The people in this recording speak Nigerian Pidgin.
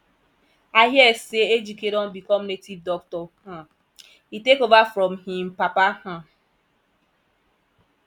i hear say ejike don become native doctor um he take over from im papa um